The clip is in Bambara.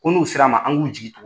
Ko n'u sera an ma an k'u jigin tugu.